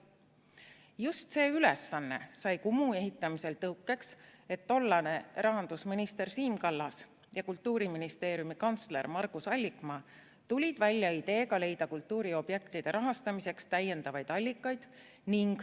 " Just see ülesanne sai Kumu ehitamisel tõukeks, et tollane rahandusminister Siim Kallas ja Kultuuriministeeriumi kantsler Margus Allikmaa tulid välja ideega leida kultuuriobjektide rahastamiseks täiendavaid allikaid.